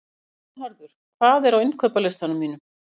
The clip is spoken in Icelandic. Vernharður, hvað er á innkaupalistanum mínum?